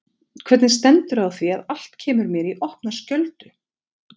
Hvernig stendur á því að allt kemur mér í opna skjöldu?